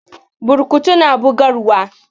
Burkutu na bugarwa.